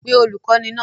Pe olùkọ́ní náà!